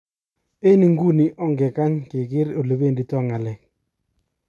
" Eng iguni onge kany keker elebedito nga'lek.